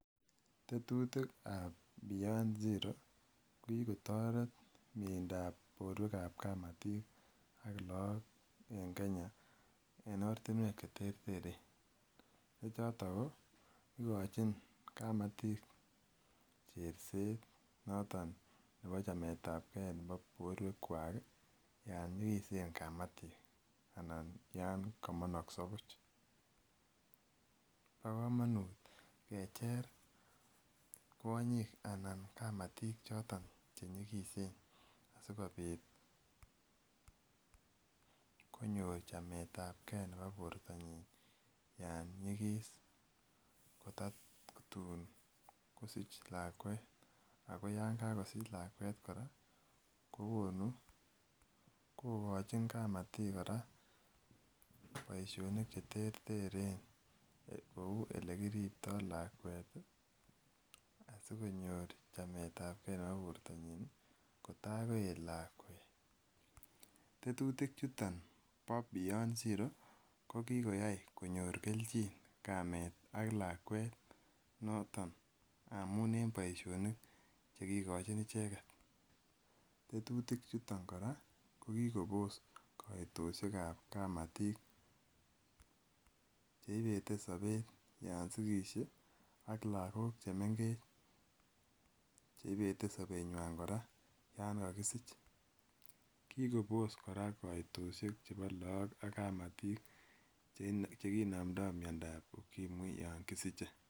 Tetutikkab beyond zero ko kikotoert mieindab boruek en kamatik ak lakok en Kenya en ortinuek cheter ak cheter. Ko choton ko ikochin kamatik cherset noto nebo chametab ke nebo borwek kuak yoon nyigisen kamatik anan Yoon kamanaksa buch . Bo komonuut kecher kwonyik anan kamatik choton che nyigisen sikobit konyor chametabke nebo bortanyin Yoon nyikis kototun kosiche lakuet ago Yoon kokosich lakuet kora kokochin kamatik kora boisionik cheter teren kouu elakiribto lakuet asikonyor chametabke nebo bortanyin kotaikoit lakuet. Tetutik chuton bo bo beyond zero ko kikoyai konyor kelchin kameet ak lakuet ndamuun en boisionik chekikochin icheget. Tetutik chuton kora ih kokibos kaitosiek kab kamatik cheibete sobet Yoon ko sigis ak lakok chemengech cheibete sobet Yoon Yoon kokosich . Kokibos kaitosiek kora en chekinomndo miandob ukimwi Yoon kokisiche